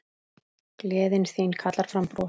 Gleðin þín kallar fram bros.